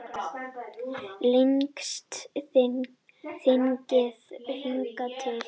Lengsta þingið hingað til